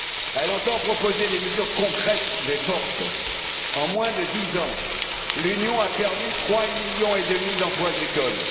Elle entend proposer des mesures concrètes et fortes en moins de dix ans, l'Union a perdu 3 millions et demi d'emplois agricoles.